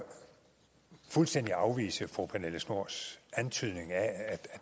fuldstændig afvise fru pernille schnoors antydning af